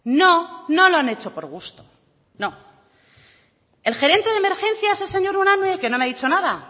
no no lo han hecho por gusto no el gerente de emergencias el señor unanue que no me ha dicho nada